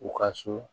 U ka so